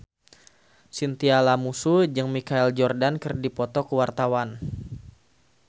Chintya Lamusu jeung Michael Jordan keur dipoto ku wartawan